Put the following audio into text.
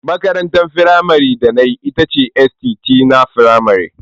Makarantar firamare da na yi ita ce st. Tina Firamar.